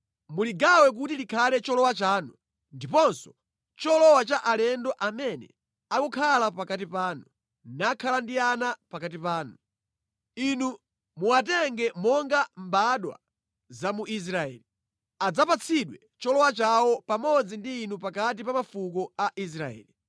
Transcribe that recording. Muligawe kuti likhale cholowa chanu ndiponso cholowa cha alendo amene akukhala pakati panu, nakhala ndi ana pakati panu. Inu muwatenge monga mbadwa za mu Israeli. Adzapatsidwe cholowa chawo pamodzi ndi inu pakati pa mafuko a Israeli.